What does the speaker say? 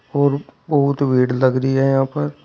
और बहुत भीड़ लग रही है यहां पर।